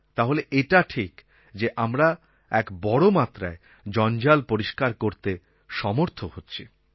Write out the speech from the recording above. তাহলে এটা ঠিক যে আমরা এক বড়ো মাত্রায় জঞ্জাল পরিষ্কার করতে সমর্থ হচ্ছি